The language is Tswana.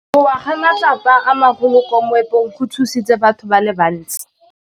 Go wa ga matlapa a magolo ko moepong go tshositse batho ba le bantsi.